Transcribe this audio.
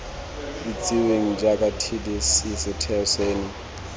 itsiweng jaaka tdc setheo seno